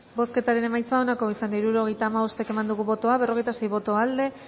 bozketaren emaitza onako izan da hirurogeita hamabost eman dugu bozka berrogeita sei boto aldekoa